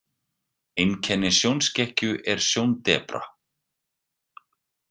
Einkenni sjónskekkju er sjóndepra.